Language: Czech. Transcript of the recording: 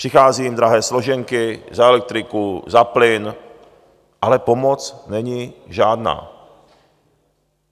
Přichází jim drahé složenky za elektriku, za plyn, ale pomoc není žádná.